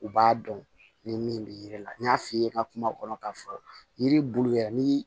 U b'a dɔn ni min bɛ yiri la n y'a f'i ye n ka kuma kɔnɔ k'a fɔ yiri bulu yɛrɛ ni